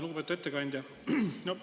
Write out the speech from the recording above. Lugupeetud ettekandja!